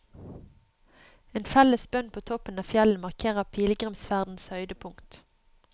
En felles bønn på toppen av fjellet markerer pilegrimsferdens høydepunkt.